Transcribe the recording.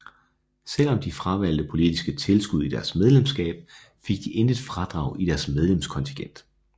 Selvom de fravalgte politisk tilskud i deres medlemskab fik de intet fradrag i deres medlemskontingent